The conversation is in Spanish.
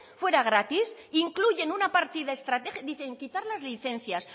fuera gratis incluyen una partida dicen quitar las licencias